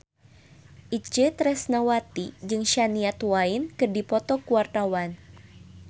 Itje Tresnawati jeung Shania Twain keur dipoto ku wartawan